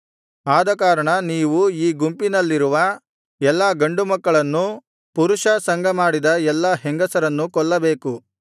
ಆದಕಾರಣ ನೀವು ಈ ಗುಂಪಿನಲ್ಲಿರುವ ಎಲ್ಲಾ ಗಂಡು ಮಕ್ಕಳನ್ನೂ ಪುರುಷ ಸಂಗಮಾಡಿದ ಎಲ್ಲಾ ಹೆಂಗಸರನ್ನೂ ಕೊಲ್ಲಬೇಕು